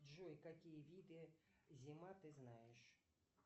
джой какие виды зима ты знаешь